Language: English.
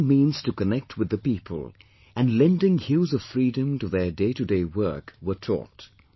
Ways and means to connect with the people and lending hues of freedom to their day to day work were taught